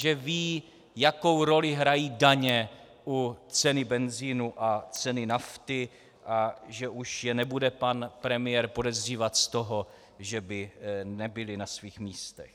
Že vědí, jakou roli hrají daně u ceny benzinu a ceny nafty, a že už je nebude pan premiér podezřívat z toho, že by nebyli na svých místech.